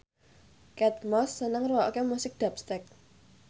Kate Moss seneng ngrungokne musik dubstep